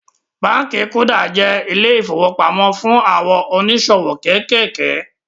Báànkì kuda jẹ́ ilé ìfowópamó fún àwọn oníṣòwò kéékèèké